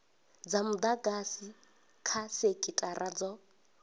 dza mudagasi kha sekithara dzo